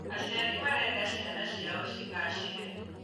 Aciari marenda ciana cĩao cĩgacĩre